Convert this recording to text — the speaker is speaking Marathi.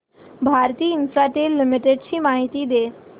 भारती इन्फ्राटेल लिमिटेड ची माहिती दे